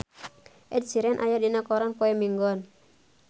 Ed Sheeran aya dina koran poe Minggon